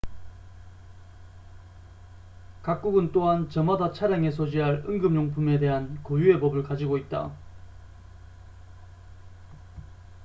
각국은 또한 저마다 차량에 소지할 응급 용품에 대한 고유의 법을 가지고 있다